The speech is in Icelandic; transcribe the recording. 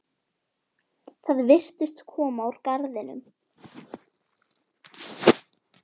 Það virtist koma frá garðinum.